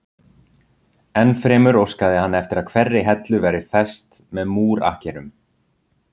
Ennfremur óskaði hann eftir að hverri hellu væri fest með múr akkerum.